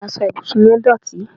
asọ ibusun yẹn dótì